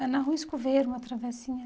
É na Rua Escoveiro, uma travessinha.